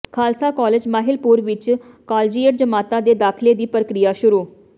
Khalsa college Mahilpur ਵਿੱਚ collegiate ਜਮਾਤਾਂ ਦੇ ਦਾਖਿਲੇ ਦੀ ਪ੍ਰਕਿਰਿਆ ਸ਼ੁਰੂ